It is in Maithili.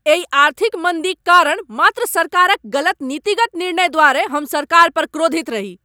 एहि आर्थिक मन्दीक कारण मात्र सरकारक गलत नीतिगत निर्णय द्वारे हम सरकार पर क्रोधित रही।